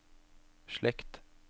slekt